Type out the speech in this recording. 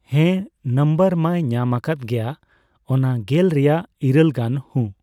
ᱦᱮᱸ, ᱱᱟᱢᱵᱟᱨ ᱢᱟᱭ ᱧᱟᱢᱟᱠᱟᱫ ᱜᱮᱭᱟ, ᱚᱱᱟ ᱜᱮᱞ ᱨᱮᱭᱟᱜ ᱤᱨᱟᱹᱞ ᱜᱟᱱ᱾ ᱦᱩᱸ᱾